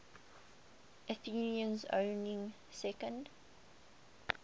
athenians owning second